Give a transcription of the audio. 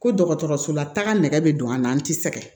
Ko dɔgɔtɔrɔsola taga nɛgɛ be don an na an ti sɛgɛn